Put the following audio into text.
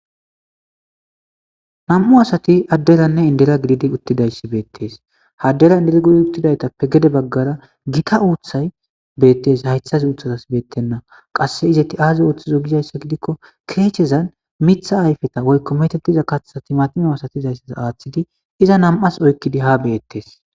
nam'u asati adderanne indera gididi uttidayssi beettes addera indiragudi uttidaytappe gede baggara gita uuththay beyettes haythas uuthatas beettenna qasse izetti aaze ooththizo gizayssa gidikko keechezan mitha ayfeta woykko metetiza kaththati matimo asatizayssas aaththidi iza nam's oykkidi ha beyettes.